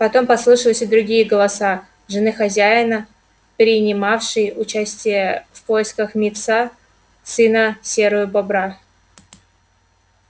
потом послышались и другие голоса жены хозяина прини-мавшей участие в поисках и мит са сына серою бобра